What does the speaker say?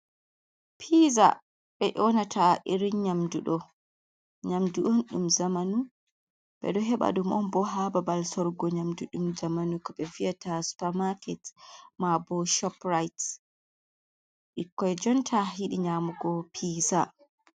Piiza ɓe nyoonata irin nyamdu ɗoo, nyamdu on ɗum zamanu, ɓe ɗo heɓa ɗum on ɓoo haa babal sorgo nyamdu ɗum zamanu, ko ɓe viyata supa maaket, maa bo shop ra'it, ɓikkon jonta yiɗii nyamugo piiza.